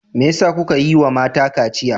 Me yasa kuka ƴiwa mata kaciya?